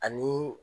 Ani